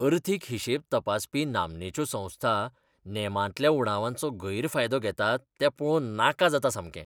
अर्थीक हिशेब तपासपी नामनेच्यो संस्था नेमांतल्या उणावांचो गैरफायदो घेतात तें पळोवन नाका जाता सामकें.